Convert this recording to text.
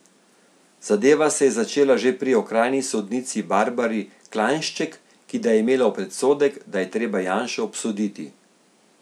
Zadeva se je začela že pri okrajni sodnici Barbari Klajnšček, ki da je imela predsodek, da treba Janšo obsoditi.